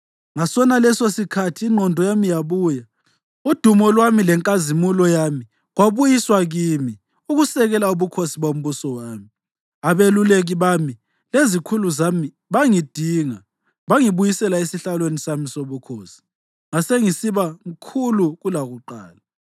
Ngasonalesosikhathi ingqondo yami yabuya, udumo lwami lenkazimulo yami kwabuyiswa kimi ukusekela ubukhosi bombuso wami. Abeluleki bami lezikhulu zami bangidinga bangibuyisela esihlalweni sami sobukhosi, ngase ngisiba mkhulu kulakuqala.